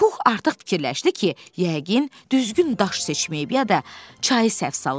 Pux artıq fikirləşdi ki, yəqin düzgün daş seçməyib ya da çayı səhv salıb.